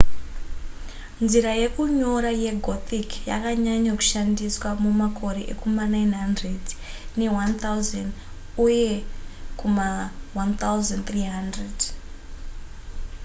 nzira yekunyora yegothic yakanyanya kushandiswa mumakore ekuma900 ne1000 uye kuma 1300